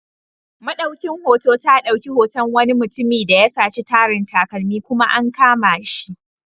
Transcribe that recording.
Maɗaukin hoto ta dauki hoton wani mutum da ya saci tarin takalmi, kuma an kama shi.